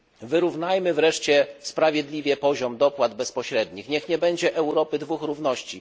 Wyrównajmy wreszcie sprawiedliwie poziom dopłat bezpośrednich, niech nie będzie Europy dwóch równości.